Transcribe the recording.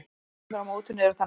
Reglurnar á mótinu eru þannig: